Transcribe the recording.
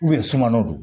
sunkɔnnanw